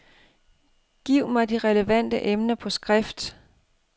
Giv mig de relevante emner på skrift.